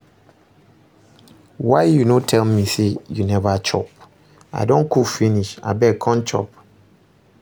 Why you no tell me say you never chop. I don cook finish, abeg come chop